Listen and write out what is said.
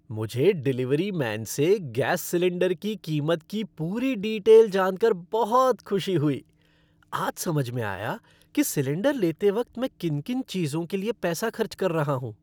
मुझे delivery man से gas cylinder की कीमत की पूरी डीटेल जानकर बहुत खुशी हुई। आज समझ में आया कि सिलेंडर लेते वक्त मैं किन किन चीजों के लिए पैसा खर्च कर रहा हूँ।